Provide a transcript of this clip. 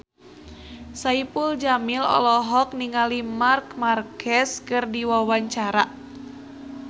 Saipul Jamil olohok ningali Marc Marquez keur diwawancara